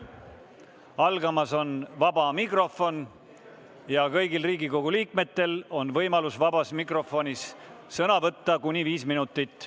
Algamas on vaba mikrofoni voor ja kõigil Riigikogu liikmetel on võimalus vabas mikrofonis sõna võtta kuni viis minutit.